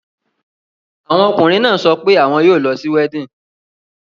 Àwọn ọkùnrin náà sọ pé àwọn yóò lọ sí weddinfg.